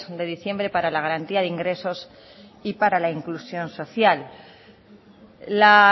de diciembre para la garantía de ingresos y para la inclusión social la